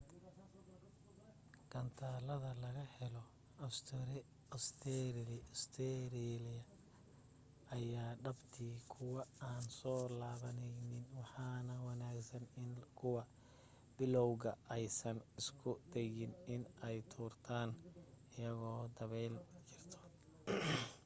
gantaalada laga helo ostereeliya aya dhabti kuwo aan soo laabaneynin waxaa wanaagsan in kuwa bilaawga aysan isku dayin in ay tuurtan ayadoo dabeyl jirto